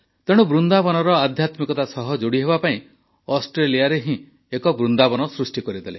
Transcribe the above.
ତେଣୁ ବୃନ୍ଦାବନର ଆଧ୍ୟାତ୍ମିକତା ସହ ଯୋଡ଼ିହେବା ପାଇଁ ଅଷ୍ଟ୍ରେଲିଆରେ ହିଁ ଏକ ବୃନ୍ଦାବନ ସୃଷ୍ଟି କରିଦେଲେ